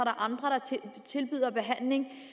andre der tilbyder behandling via